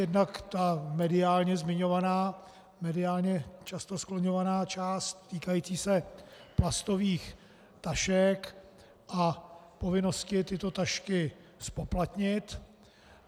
Jednak ta mediálně zmiňovaná, mediálně často skloňovaná část týkající se plastových tašek a povinnosti tyto tašky zpoplatnit.